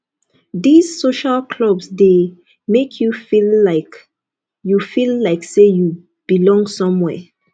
these social clubs de make you feel like you feel like say you belong somewhere